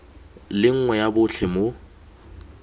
le nngwe ya botlhe mo